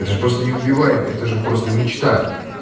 это же просто не убиваемый это же просто мечта